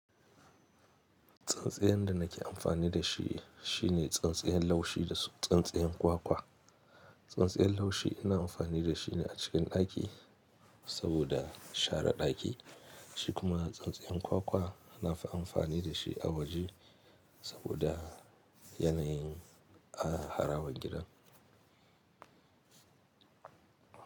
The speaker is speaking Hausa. Tsintsiyan da nake amfani da shi shine tsintsiyan laushi da tsintsiyan kwakwa. Tsintsiyan laushi ina amfani da shine a cikin ɗaki. Saboda share ɗaki, shi kuma tsintsiyan kwakwa na fi amfani da shi a waje saboda yanayin a haraban gida.